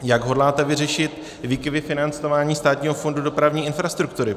Jak hodláte vyřešit výkyvy financování Státního fondu dopravní infrastruktury?